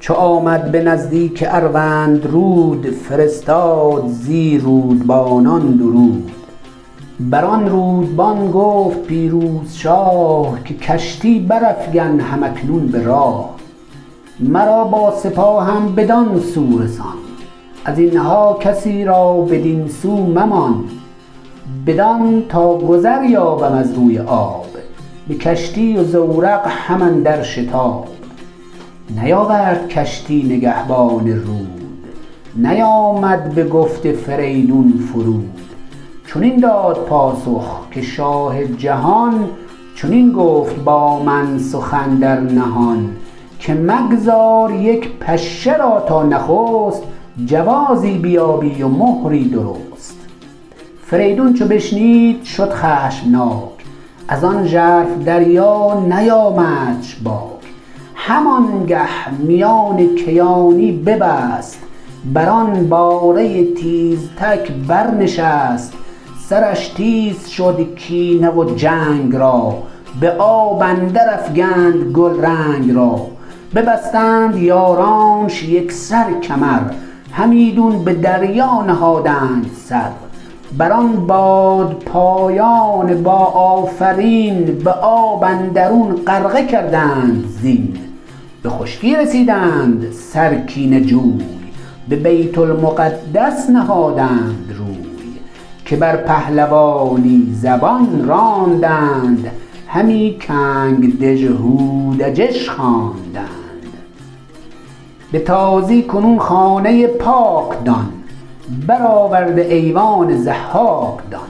چو آمد به نزدیک اروندرود فرستاد زی رودبانان درود بران رودبان گفت پیروز شاه که کشتی برافگن هم اکنون به راه مرا با سپاهم بدان سو رسان از اینها کسی را بدین سو ممان بدان تا گذر یابم از روی آب به کشتی و زورق هم اندر شتاب نیاورد کشتی نگهبان رود نیامد بگفت فریدون فرود چنین داد پاسخ که شاه جهان چنین گفت با من سخن در نهان که مگذار یک پشه را تا نخست جوازی بیابی و مهری درست فریدون چو بشنید شد خشمناک ازان ژرف دریا نیامدش باک هم آنگه میان کیانی ببست بران باره تیزتک بر نشست سرش تیز شد کینه و جنگ را به آب اندر افگند گلرنگ را ببستند یارانش یکسر کمر همیدون به دریا نهادند سر بر آن بادپایان با آفرین به آب اندرون غرقه کردند زین به خشکی رسیدند سر کینه جوی به بیت المقدس نهادند روی که بر پهلوانی زبان راندند همی کنگ دژهودجش خواندند به تازی کنون خانه پاک دان برآورده ایوان ضحاک دان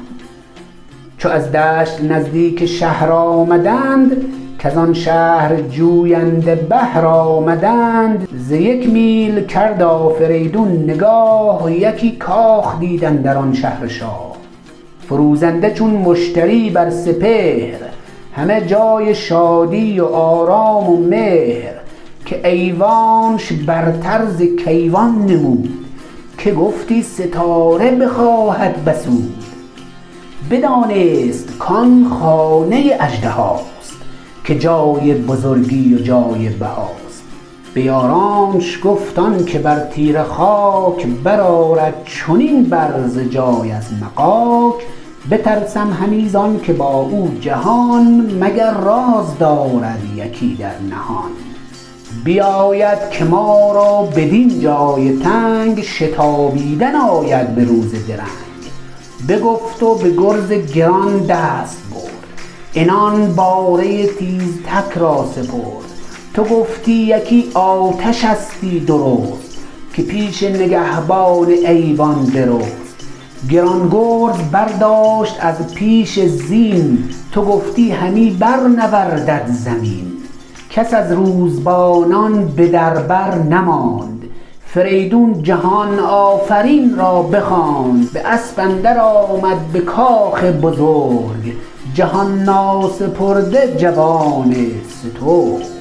چو از دشت نزدیک شهر آمدند کزان شهر جوینده بهر آمدند ز یک میل کرد آفریدون نگاه یکی کاخ دید اندر آن شهر شاه فروزنده چون مشتری بر سپهر همه جای شادی و آرام و مهر که ایوانش برتر ز کیوان نمود که گفتی ستاره بخواهد بسود بدانست کان خانه اژدهاست که جای بزرگی و جای بهاست به یارانش گفت آنکه بر تیره خاک برآرد چنین برز جای از مغاک بترسم همی زانکه با او جهان مگر راز دارد یکی در نهان بباید که ما را بدین جای تنگ شتابیدن آید به روز درنگ بگفت و به گرز گران دست برد عنان باره تیزتک را سپرد تو گفتی یکی آتشستی درست که پیش نگهبان ایوان برست گران گرز برداشت از پیش زین تو گفتی همی بر نوردد زمین کس از روزبانان به در بر نماند فریدون جهان آفرین را بخواند به اسب اندر آمد به کاخ بزرگ جهان ناسپرده جوان سترگ